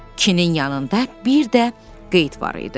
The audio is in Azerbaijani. Kinin yanında bir də qeyd var idi.